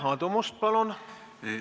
Aadu Must, palun!